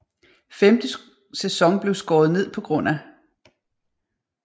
Femte sæson blev skåret ned pga